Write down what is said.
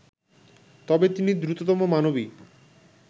তবে তিনি দ্রুততম মানবী